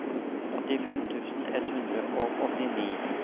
åttifem tusen ett hundre og åttini